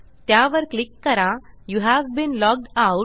त्यावर क्लिक करा you've been logged out